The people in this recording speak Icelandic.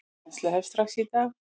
Kennsla hefst strax í dag.